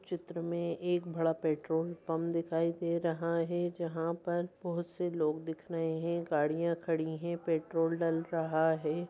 चित्र में एक बड़ा पेट्रोल पंप दिखाई दे रहा है जहां पर बहुत से लोग दिखाई दिख रहे हैं गाड़ियां खड़ी है पेट्रोल डाल रहा है।